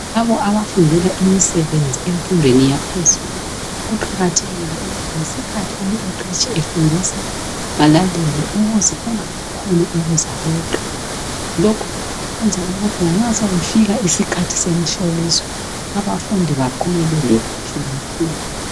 Labo abafundela imisebenzi emfundweni yaphezulu . Kuqakathekile ukuthi ngesikhathi umqeqetshi efundisa balalele ukuze kungabi khona okuzabeqa .Lokhu kwenza ukuthi lanxa sokufika isikhathi semihloliso .Abafundi baphumelele kuhle kakhulu.